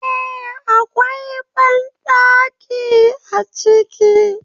Eh, Akwai banɗaki a ciki